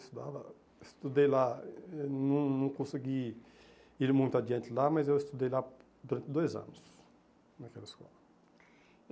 Estudava eu estudei lá, não não consegui ir muito adiante lá, mas eu estudei lá durante dois anos, naquela escola.